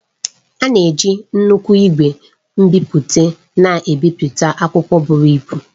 A na-eji nnukwu ìgwè nbipute na-ebipụta akwụkwọ buru ibu